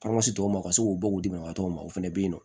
tɔ ma ka se k'u bɔ u dɛmɛtɔ ma o fana bɛ yen nɔ